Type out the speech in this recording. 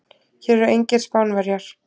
Hér eru engir Spánverjar.